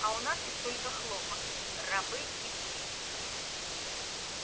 а у нас есть только хлопок рабы и спесь